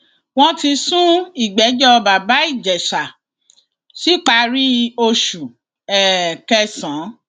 wọn ti sún ìgbẹjọ bàbá ìjẹsà síparí oṣù um kẹsàn